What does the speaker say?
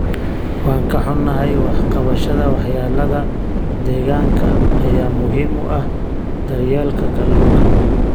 Waan ka xunahay, wax ka qabashada waxyeelada deegaanka ayaa muhiim u ah daryeelka kalluunka.